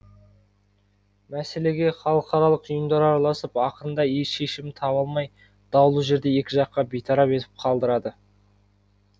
мәселеге халықаралық ұйымдар араласып ақырында еш шешімін таба алмай даулы жерді екі жаққа бейтарап етіп қалдырады